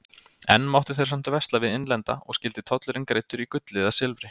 Enn máttu þeir samt versla við innlenda og skyldi tollurinn greiddur í gulli eða silfri.